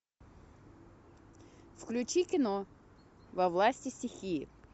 включи кино во власти стихии